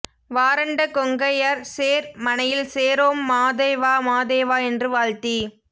வாராண்ட கொங்கையர் சேர் மனையில் சேரோம் மாதேவா மாதேவா என்று வாழ்த்தி